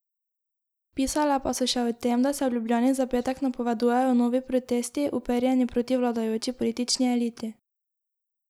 Pisale pa so še o tem, da se v Ljubljani za petek napovedujejo novi protesti, uperjeni proti vladajoči politični eliti.